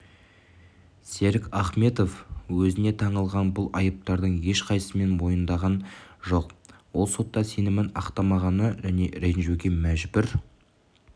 серік ахметов өзіне таңылған бұл айыптардың ешқайысысын мойындаған жоқ ол сотта сенімін ақтамағаны және ренжуге мәжбүр